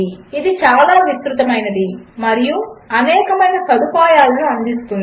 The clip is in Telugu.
అది చాలా విస్తృతమైనది మరియు అనేకమైన సదుపాయములను అందిస్తుంది